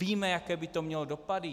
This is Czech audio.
Víme, jaké by to mělo dopady?